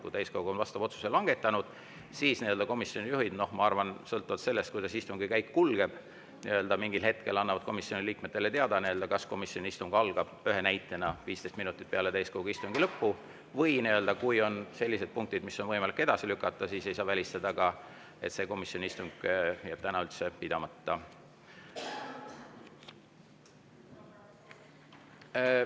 Kui täiskogu on oma otsuse langetanud, siis komisjonijuhid, ma arvan, sõltuvalt sellest, kuidas istungi käik kulgeb, annavad mingil hetkel komisjoniliikmetele teada, kas nende komisjoni istung algab näiteks 15 minutit peale täiskogu istungi lõppu, või kui on sellised punktid, mida on võimalik edasi lükata, siis ei saa välistada, et see komisjoni istung jääb täna üldse pidamata.